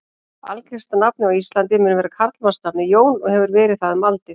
Algengasta nafnið á Íslandi mun vera karlmannsnafnið Jón og hefur verið það um aldir.